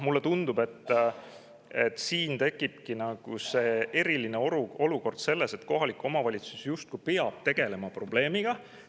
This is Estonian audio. Mulle tundub, et siin tekibki eriline olukord, et kohalik omavalitsus justkui peab probleemiga tegelema.